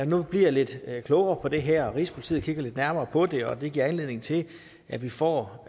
nu bliver lidt klogere på det her at rigspolitiet kigger lidt nærmere på det og at det giver anledning til at vi får